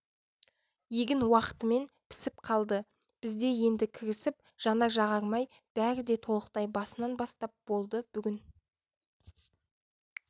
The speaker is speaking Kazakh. егін уақытымен пісіп қалды бізде енді кірісіп жанар-жағармай бәрі де толықтай басынан бастап болды бүгін